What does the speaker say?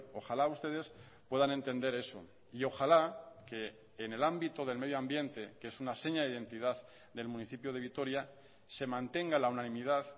ojalá ustedes puedan entender eso y ojalá que en el ámbito del medio ambiente que es una seña de identidad del municipio de vitoria se mantenga la unanimidad